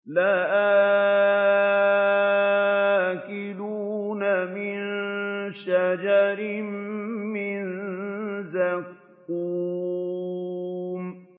لَآكِلُونَ مِن شَجَرٍ مِّن زَقُّومٍ